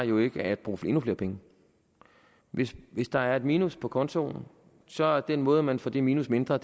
jo ikke at bruge endnu flere penge hvis hvis der er et minus på kontoen så er den måde hvorpå man får det minus mindre